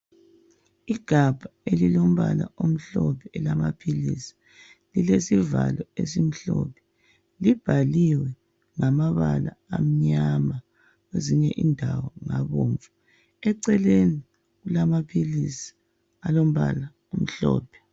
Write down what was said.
Igabha elilombala omhlophe elamaphilisi lilesivalo esimhlophe. Libhaliwe ngamabala amnyama kwezinye indawo ngabomvu. Eceleni kulamaphilisi alombala omhlophe.